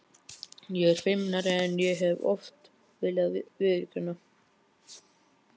Ég er feimnari en ég hef oft viljað viðurkenna.